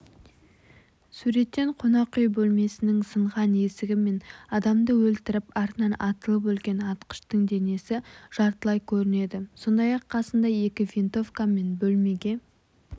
суреттен қонақүй бөлмесінің сынған есігі мен адамды өлтіріп артынан атылып өлген атқыштың денесі жартылай көрінеді сондай-ақ қасында екі винтовка мен бөлмеге